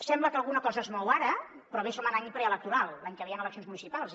sembla que alguna cosa es mou ara però bé som en any preelectoral l’any que ve hi han eleccions municipals